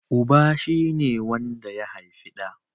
Uba shi ne wanda ya haifi ɗa